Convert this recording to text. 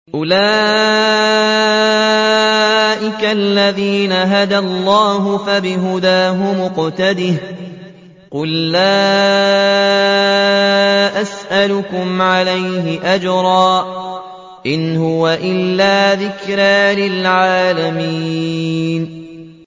أُولَٰئِكَ الَّذِينَ هَدَى اللَّهُ ۖ فَبِهُدَاهُمُ اقْتَدِهْ ۗ قُل لَّا أَسْأَلُكُمْ عَلَيْهِ أَجْرًا ۖ إِنْ هُوَ إِلَّا ذِكْرَىٰ لِلْعَالَمِينَ